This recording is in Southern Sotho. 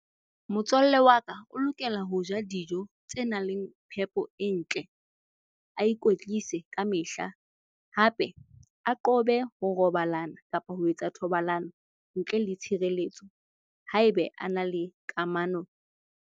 Motswalle wa ka o lokela ho ja dijo tse nang le phepo e ntle. A ikwetlise kamehla hape a qobe ho robalana kapa ho etsa thobalano ntle le tshireletso haebe ana le kamano.